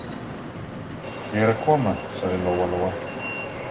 Ég er að koma, sagði Lóa Lóa.